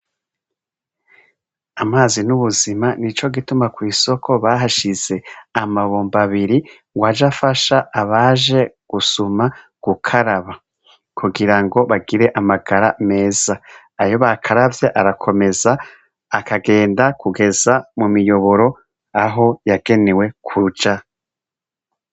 Amazi n'ubuzima ni co gituma kw'isoko bahashize amabomba abiri ngo aja afasha abaje gusuma gukaraba kugira ngo bagire amagara meza ayo bakaravya arakomeza akagenda kugeza mu miyoboro aho yagene newe kuruca.